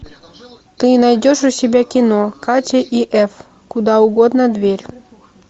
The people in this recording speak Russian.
ты найдешь у себя кино катя и эф куда угодно дверь